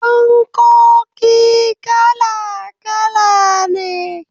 Fankoki kala kala ne.